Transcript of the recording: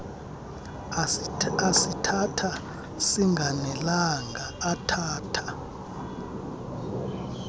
asithatha singanelanga athatha